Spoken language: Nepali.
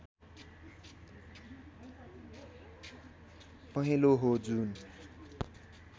पहेँलो हो जुन